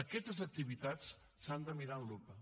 aquestes activitats s’han de mirar amb lupa